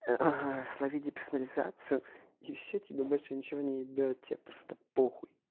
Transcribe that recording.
славиди персонализацию и все тебе больше ничего не ебёт тебя просто похуй